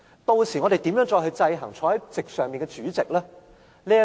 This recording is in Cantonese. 屆時我們如何再制衡坐在席上的主席？